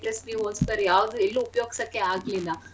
A plus B whole square ಯಾವ್ದು ಎಲ್ಲೂ ಉಪಯೋಗ್ಸಕ್ಕೆ ಆಗ್ಲಿಲ್ಲ.